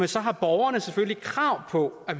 så har borgerne selvfølgelig krav på at